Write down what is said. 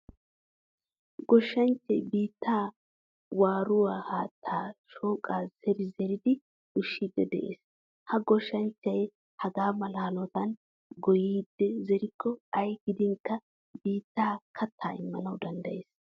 Goshshanchchay biittaa waaruwaa haattan shoqqa zeeri zeeridi ushshidi de'ees. Ha goshshanchchay hagaamala hanottan goyidi zerikko ayi gidinkka biittay katta immanawu danddayees.